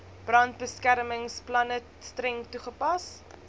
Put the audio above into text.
brandbeskermingsplanne streng toegepas